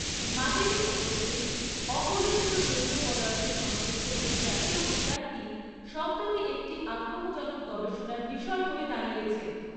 মাটিতে উপস্থিত অকলুষিত জৈব পদার্থ সমৃদ্ধ এই জাতীয় উদ্যানটি সম্প্রতি একটি আগ্রহজনক গবেষণার বিষয় হয়ে দাঁড়িয়েছে।